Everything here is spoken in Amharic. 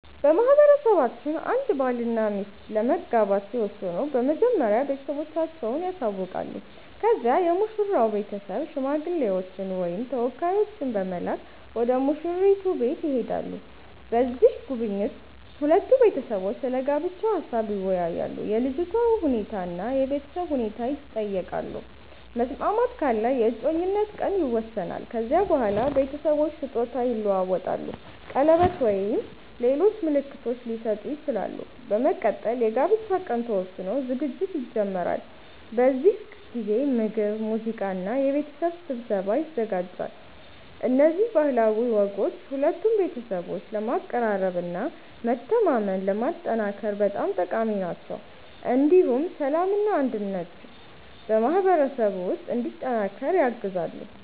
በማህበረሰባችን አንድ ባልና ሚስት ለመጋባት ሲወስኑ መጀመሪያ ቤተሰቦቻቸውን ያሳውቃሉ። ከዚያ የሙሽራው ቤተሰብ ሽማግሌዎችን ወይም ተወካዮችን በመላክ ወደ ሙሽራይቱ ቤት ይሄዳሉ። በዚህ ጉብኝት ሁለቱ ቤተሰቦች ስለ ጋብቻ ሀሳብ ይወያያሉ፣ የልጅቷ ሁኔታ እና የቤተሰብ ሁኔታ ይጠየቃሉ። መስማማት ካለ የእጮኝነት ቀን ይወሰናል። ከዚያ በኋላ ቤተሰቦች ስጦታ ይለዋወጣሉ፣ ቀለበት ወይም ሌሎች ምልክቶች ሊሰጡ ይችላሉ። በመቀጠል የጋብቻ ቀን ተወስኖ ዝግጅት ይጀመራል። በዚህ ጊዜ ምግብ፣ ሙዚቃ እና የቤተሰብ ስብሰባ ይዘጋጃል። እነዚህ ባህላዊ ወጎች ሁለቱን ቤተሰቦች ለማቀራረብ እና መተማመንን ለማጠናከር በጣም ጠቃሚ ናቸው። እንዲሁም ሰላምና አንድነት በማህበረሰቡ ውስጥ እንዲጠናከር ያግዛሉ።